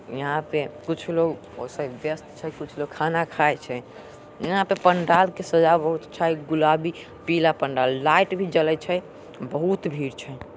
यहां पे कुछ लोग ओसे व्यस्त छै कुछ लोग खाना खाए छै। यहां पे पंडाल के सोझा में गुलाबी - पीला पंडाल लाइट भी जलय छै बहुत भीड़ छै।